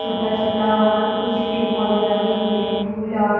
छोटा-छोटा वहाँ पे कुछ पेड़-पौधे लगे हुए है फूल और --